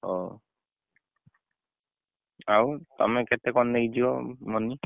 ହଉ ଆଉ ତମେ କେତେ କଣ ନେଇକି ଜୀବ money ?